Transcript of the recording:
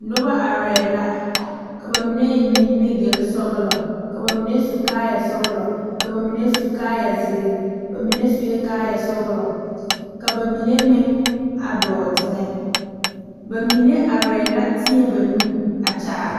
Noba are la ka bamine eŋ nimigele sɔglɔ ka bamine su kaaya sɔglɔ ka bamine su kpare ziiri, bamine seɛ kaaya sɔglɔ ka bamine meŋ a dɔɔ teŋa bamine are la teɛ ba nu a kaara.